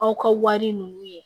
Aw ka wari ninnu ye